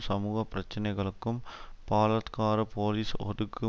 சமூக பிரச்சனைகளுக்கு பாலத்கார போலீஸ் ஒடுக்கு